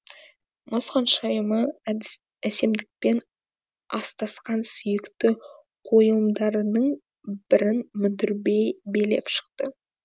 мұз ханшайымы әсемдікпен астасқан сүйікті қойылымдарының бірін мүдірбей билеп шықты